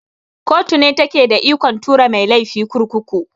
Koto ne take da ikon tura mai laifi kurkuku.